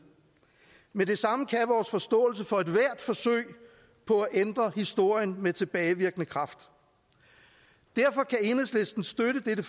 men det samme kan vores forståelse for ethvert forsøg på at ændre historien med tilbagevirkende kraft derfor kan enhedslisten støtte dette